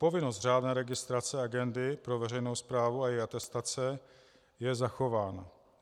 Povinnost řádné registrace agendy pro veřejnou správu a její atestace je zachována.